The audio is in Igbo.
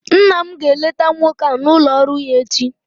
Nna m ga-eleta nwoke a n'ụlọ ọrụ ya echi